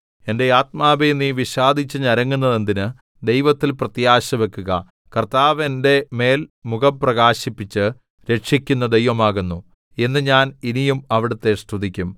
എന്റെ ആത്മാവേ നീ വിഷാദിച്ച് ഞരങ്ങുന്നതെന്തിന് ദൈവത്തിൽ പ്രത്യാശ വെക്കുക കർത്താവ് എന്റെ മേൽ മുഖം പ്രകാശിപ്പിച്ച് രക്ഷിക്കുന്ന ദൈവവുമാകുന്നു എന്ന് ഞാൻ ഇനിയും അവിടുത്തെ സ്തുതിക്കും